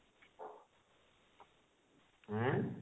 ଆଁ?